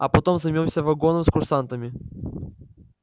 а потом займёмся вагоном с курсантами